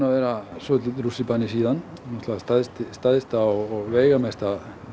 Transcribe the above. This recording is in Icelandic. að vera svolítill rússíbani síðan náttúrulega stærsti stærsti og veigamesti